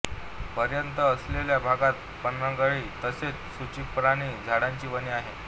पर्यंत असलेल्या भागात पानगळी तसेच सूचिपर्णी झाडांची वने आहेत